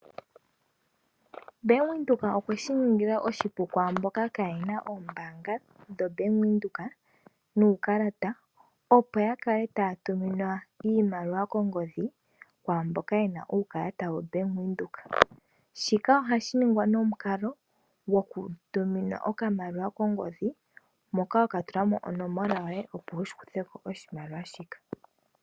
Bank Windhoek okwe shi ningila oshipu kwaamboka kaa yena oombanga dho Bank Windhoek nuukalata, opo ya kale taya tuminwa iimaliwa kongodhi kwaamboka yena uukalata wo Bank Windhoek. Shika ohashi ningwa nomukalo gokutuminwa okamaliwa kongodhi, moka ho ka tula mo onomola yoye opo wu shi kuthe ko oshimaliwa shika.